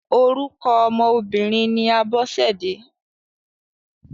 Orúkọ ọmọ obìnrin ni Abọ́sẹ̀dé.